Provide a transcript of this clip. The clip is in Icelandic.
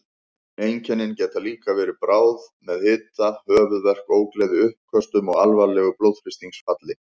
Einkennin geta líka verið bráð með hita, höfuðverk, ógleði, uppköstum og alvarlegu blóðþrýstingsfalli.